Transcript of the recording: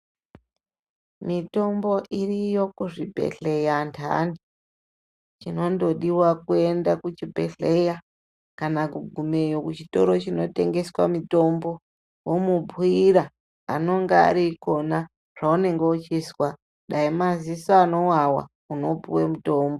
Mitombo iriyo kuzvibhedhleya antani chinondodiwa kuenda kuchibhedhleya kana kugumeyo kuchitoro chinotengesa mitombo womubhuyira anonga arikona zvaunonga uchizwa dai maziso anowawa unopuwe mutombo.